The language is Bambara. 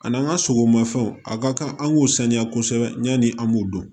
A n'an ka sogomafɛnw a ka kan an k'o sanuya kosɛbɛ yanni an b'o dɔn